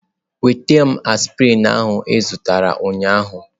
Nweta m septrin ahụ ị zụtara ụnyaahụ.